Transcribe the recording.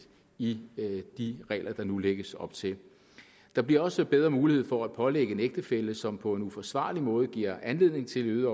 i de regler der nu lægges op til der bliver også bedre mulighed for at pålægge en ægtefælle som på en uforsvarlig måde giver anledning til øgede